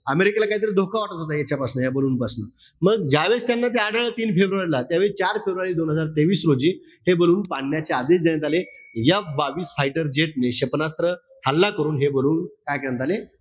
अमेरिकेला काहीतरी धोका वाटत होता यांच्यापासन, या ballon पासन. मग ज्यावेळेस त्यांना ते आढळलं तीन फेब्रुवारी ला, त्यावेळी चार फेब्रुवारी दोन हजार तेवीस रोजी हे ballon पाडण्याचे आदेश देण्यात आले F बावीस fighter jet ने, क्षेपणास्त्र हल्ला करून हे काय करण्यात आले?